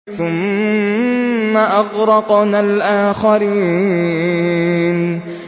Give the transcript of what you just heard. ثُمَّ أَغْرَقْنَا الْآخَرِينَ